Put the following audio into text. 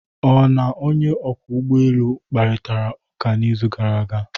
Ị na onye ọkwọ ụgbọ elu kparịtara ụka n'izu gara aga?